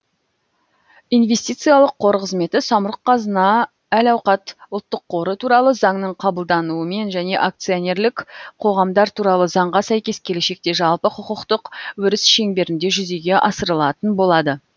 инвестициялық қор қызметі самрұқ қазына әл ауқат ұлттық қоры туралы заңның қабылдануымен және акционерлік қоғамдар туралы заңға сәйкес келешекте жалпы құқықтық өріс шеңберінде жүзеге асырылатын болады